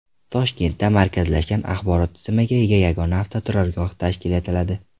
Toshkentda markazlashgan axborot tizimiga ega yagona avtoturargoh tashkil etiladi.